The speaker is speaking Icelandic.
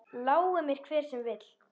Lái mér hver sem vill.